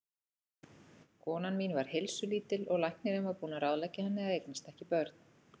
Konan mín var heilsulítil og læknirinn var búinn að ráðleggja henni að eignast ekki börn.